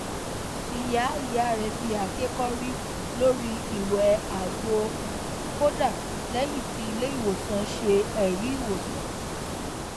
ìyá ìyá rẹ fi àáké kọrí lórí ìwẹ àgbo kódà lẹyìn tí ilé ìwòsàn ṣe ẹrí ìwòsàn